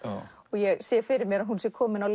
ég sé fyrir mér að hún sé komin á